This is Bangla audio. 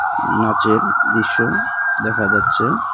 নাচের দৃশ্য দেখা যাচ্ছে.